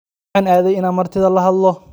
Maxan aadey inan lahadhlo martida.